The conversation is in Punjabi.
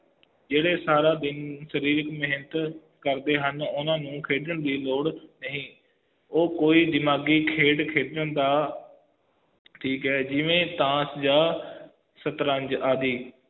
ਜਿਹੜੇ ਸਾਰਾ ਦਿਨ ਸਰੀਰਿਕ ਮੇਹਨਤ ਕਰਦੇ ਹਨ ਓਹਨਾ ਨੂੰ ਖੇਡਣ ਦੀ ਲੋੜ ਨਹੀਂ ਉਹ ਕੋਈ ਦਿਮਾਗੀ ਖੇਡ ਖੇਡਣ ਦਾ ਠੀਕ ਹੈ ਜਿਵੇ ਤਾਸ਼ ਜਾ ਸ਼ਤਰੰਜ ਆਦਿ